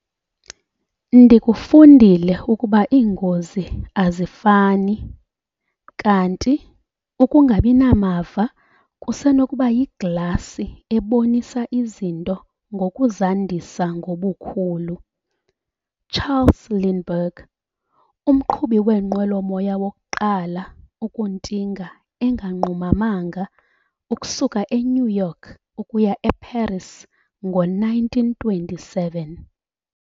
"Ndikufundile ukuba iingozi azifani, kanti ukungabi namava kusenokuba yiglasi ebonisa izinto ngokuzandisa ngobukhulu" - Charles Lindbergh, umqhubi weenqwelomoya wokuqala ukuntinga enganqumamanga ukusuka eNew York ukuya eParis ngo-1927.